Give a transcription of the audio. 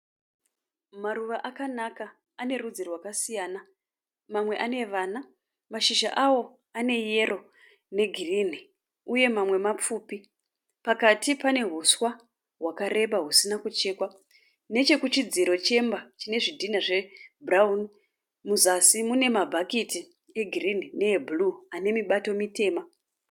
Maruva akanaka. Ane rudzi rwakasiyana. Mamwe ane vana. Mashizha awo ane yero negirinhi uye mamwe mapfupi. Pakati pane huswa hwakareba husina kuchekwa. Nechekuchidziro chemba chine zvidhinha zvebhurawuni muzasi mune ma"bucket" egirinhi neebhuruu ane mibato mitema.